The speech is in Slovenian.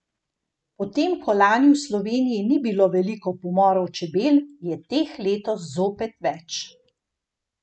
Potem ko lani v Sloveniji ni bilo veliko pomorov čebel, je teh letos zopet več.